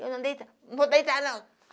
Eu não deitar, não vou deitar, não.